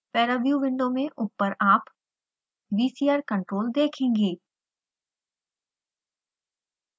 paraview window में ऊपर आप vcr control देखेंगे